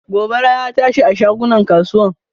Gobara ya tashi a shagunan kasuwar.